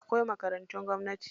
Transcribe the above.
Akwai makarantun gwamnati.